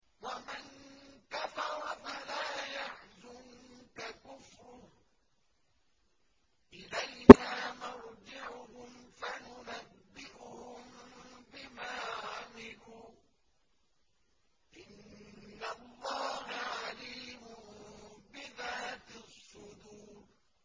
وَمَن كَفَرَ فَلَا يَحْزُنكَ كُفْرُهُ ۚ إِلَيْنَا مَرْجِعُهُمْ فَنُنَبِّئُهُم بِمَا عَمِلُوا ۚ إِنَّ اللَّهَ عَلِيمٌ بِذَاتِ الصُّدُورِ